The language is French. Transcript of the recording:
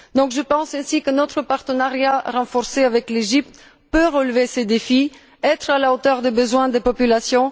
Je pense donc que notre partenariat renforcé avec l'Égypte peut relever ce défi et être à la hauteur des besoins des populations.